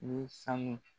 Ni sanu